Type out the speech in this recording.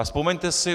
A vzpomeňte si.